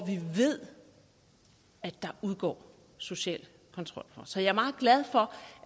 vi ved at der udgår social kontrol fra så jeg er meget glad for